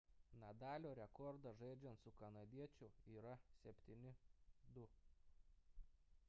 nadalio rekordas žaidžiant su kanadiečiu yra 7–2